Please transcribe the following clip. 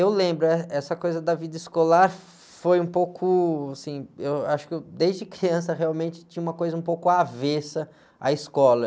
Eu lembro, eh, essa coisa da vida escolar foi um pouco, assim, eu acho que eu, desde criança realmente tinha uma coisa um pouco avessa à escola.